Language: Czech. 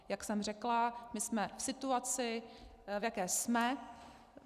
Jak jsem řekla, my jsme v situaci, v jaké jsme.